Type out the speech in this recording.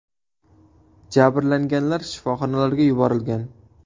Jabrlanganlar shifoxonalarga yuborilgan.